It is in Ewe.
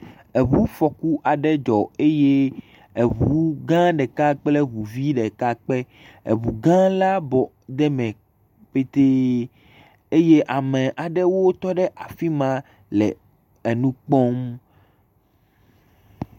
Eŋufɔku aɖe dzɔ eye eŋu gã ɖeka kple eŋu vi ɖeka kpe, eŋu gã la bɔ ɖe eme petee eye ame aɖewo tɔ ɖe afi ma le enu kpɔm.